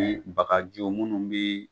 Bagajiw minnu bɛ